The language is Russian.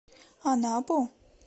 анапу